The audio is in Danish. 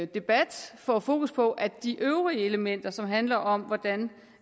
debat får fokus på at de øvrige elementer som handler om hvordan